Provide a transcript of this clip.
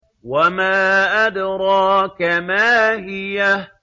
وَمَا أَدْرَاكَ مَا هِيَهْ